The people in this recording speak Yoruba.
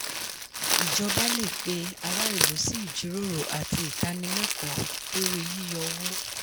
ìjọba lè pe ará ìlú sí ìjíròrò àti ìtànilẹ́kọ̀ọ́ lórí yíyọ owó.